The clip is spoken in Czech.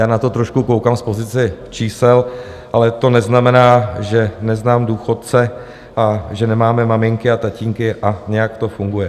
Já na to trošku koukám z pozice čísel, ale to neznamená, že neznám důchodce a že nemáme maminky a tatínky a nějak to funguje.